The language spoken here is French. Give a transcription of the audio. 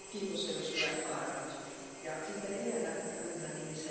Madame la présidente, Du temps de la France, l'Algérie, c'était le paradis!